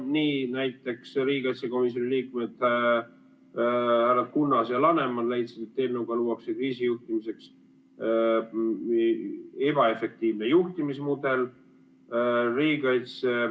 Nii näiteks riigikaitsekomisjoni liikmed härra Kunnas ja härra Laneman leidsid, et eelnõuga luuakse kriisijuhtimiseks ebaefektiivne juhtimismudel.